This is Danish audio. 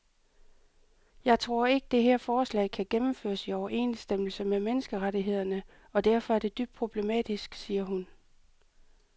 Jeg tror ikke, det her forslag kan gennemføres i overensstemmelse med menneskerettighederne og derfor er det dybt problematisk, siger hun.